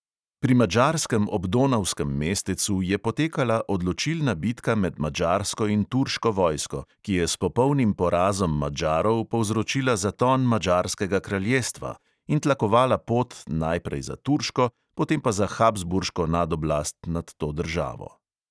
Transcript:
Pri madžarskem obdonavskem mestecu je potekala odločilna bitka med madžarsko in turško vojsko, ki je s popolnim porazom madžarov povzročila zaton madžarskega kraljestva in tlakovala pot, najprej za turško, potem pa za habsburško nadoblast nad to državo.